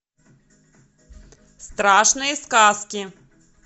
страшные сказки